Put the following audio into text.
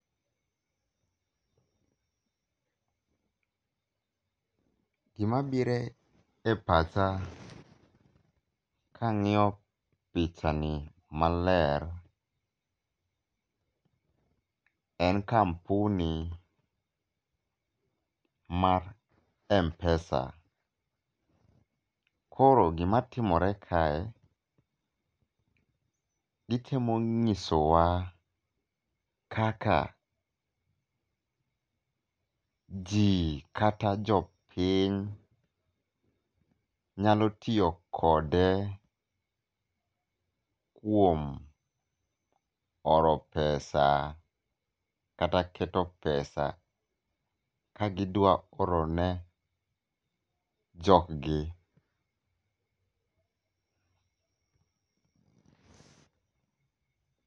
Gimabire pacha kang'iyo pichani maler en kampuni mar mpesa. Koro gima timore kae, gitemo nyisowa kaka jii kata jopiny nyalotiyo kode kuom oro pesa kata keto pesa kagidwa orone joggi.